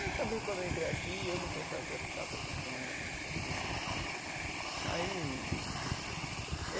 Eu também, quando eu entrei aqui, eu não pensava que eu ia ficar tanto tempo não sei o que aí.